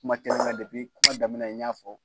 Kuma kelen depi kuma daminɛ n y'a fɔ.